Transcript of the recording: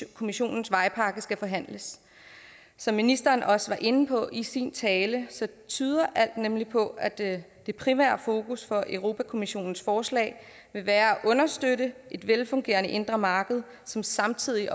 kommissionens vejpakke skal forhandles som ministeren også var inde på i sin tale tyder alt nemlig på at det det primære fokus for europa kommissionens forslag vil være at understøtte et velfungerende indre marked som samtidig